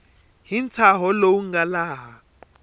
hi ntshaho lowu nga laha